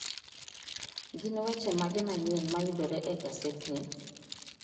Gin weche mage manyien mayudore e gasedni?